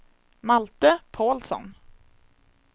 Malte Pålsson